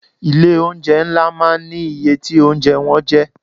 Ilé oúnjẹ ńlá máa ń ní iye tí oúnjẹ wọn jẹ́.